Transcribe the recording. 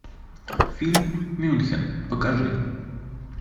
фильм мюнхен покажи